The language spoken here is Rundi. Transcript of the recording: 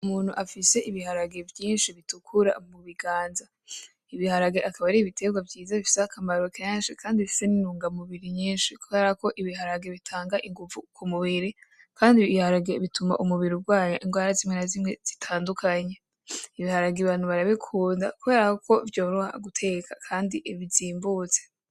Umuntu afise ibiharage vyinshi bitukura mu biganza, ibiharage akaba ari ibitegwa vyiza bifise akamaro kenshi kandi bifise n'intunga mubiri nyinshi, kubera ko ibiharage bitanga inguvu ku mubiri, kandi ibiharage bituma umubiri ugwanya ingwara zimwe na zimwe zitandukanye, ibiharage abantu barabikunda kubera ko vyoroha guteka kandi bizimbutse.